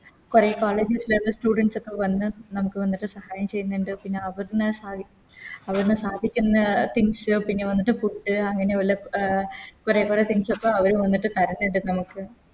കൊറേ College students ഒക്കെ വന്നിട്ട് നമുക്ക് വന്നിട്ട് സഹായം ചെയ്യുന്നുണ്ട് പിന്നെ അവുടുന്ന് അവുടുന്ന് സാധിക്കുന്ന Things പിന്നെ വന്നിട്ട് Food അങ്ങനെയുള്ള കൊറേ കൊറേ Things അപ്പൊ അവര് വന്നിട്ട് തരുന്നുണ്ട് നമുക്ക്